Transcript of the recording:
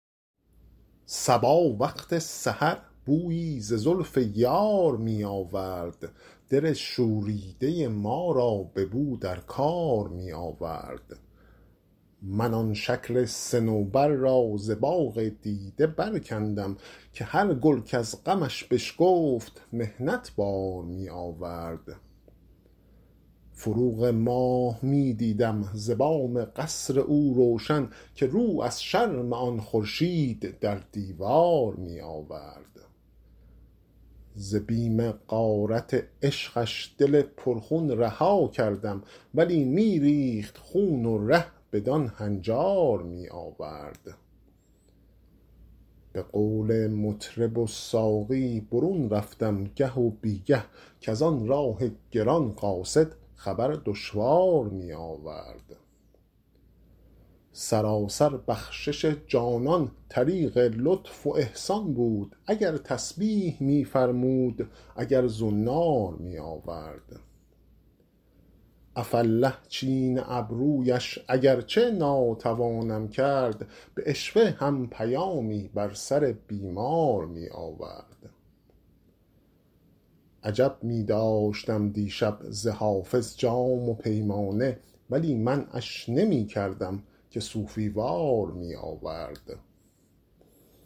صبا وقت سحر بویی ز زلف یار می آورد دل شوریده ما را به نو در کار می آورد من آن شکل صنوبر را ز باغ دیده برکندم که هر گل کز غمش بشکفت محنت بار می آورد فروغ ماه می دیدم ز بام قصر او روشن که رو از شرم آن خورشید در دیوار می آورد ز بیم غارت عشقش دل پرخون رها کردم ولی می ریخت خون و ره بدان هنجار می آورد به قول مطرب و ساقی برون رفتم گه و بی گه کز آن راه گران قاصد خبر دشوار می آورد سراسر بخشش جانان طریق لطف و احسان بود اگر تسبیح می فرمود اگر زنار می آورد عفاالله چین ابرویش اگر چه ناتوانم کرد به عشوه هم پیامی بر سر بیمار می آورد عجب می داشتم دیشب ز حافظ جام و پیمانه ولی منعش نمی کردم که صوفی وار می آورد